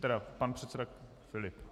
Ano, pan předseda Filip.